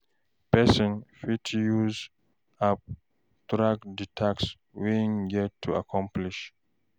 Person fit use app take track di task wey im get to accomplish